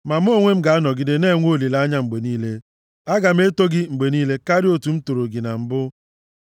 Ma mụ onwe m ga-anọgide na-enwe olileanya mgbe niile; aga m eto gị mgbe niile karịa otu m toro gị na mbụ.